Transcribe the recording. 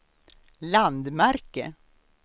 landmärke